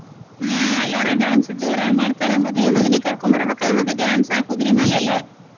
ಹ್ಮ್ ಎಲ್ಲಾರು dance ಜೋರಾಗ್ ಮಾಡ್ತಾರ. ಮದ್ವಿ ಮಗನಿಗ ಕರ್ಕೊಂಬರ್ಬೆಕಲ್ಲ ಮತ್ತ dance ಕುದುರಿ ಮ್ಯಾಲ ಎಲ್ಲಾ.